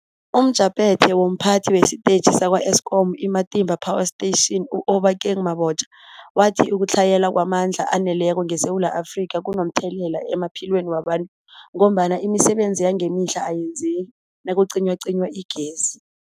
UmJaphethe womPhathi wesiTetjhi sakwa-Eskom i-Matimba Power Station u-Obakeng Mabotja wathi ukutlhayela kwamandla aneleko ngeSewula Afrika kunomthelela emaphilweni wabantu ngombana imisebenzi yangemihla ayenzeki nakucinywacinywa igezi.